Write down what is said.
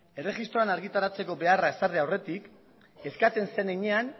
erregistroan argitaratzeko beharra ezarri aurretik eskatzen zen heinean